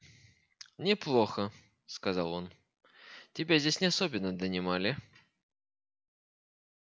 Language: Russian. неплохо сказал он тебя здесь не особенно донимали